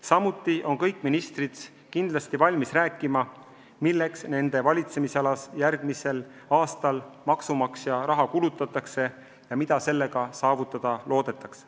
Samuti on kõik ministrid kindlasti valmis rääkima, milleks nende valitsemisalas järgmisel aastal maksumaksja raha kulutatakse ja mida sellega saavutada loodetakse.